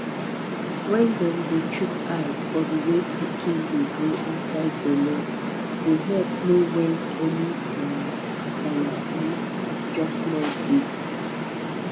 wen dem dey chook eye for the way pikin dey grow inside belle dey epp know wen any um kasala um just nu dey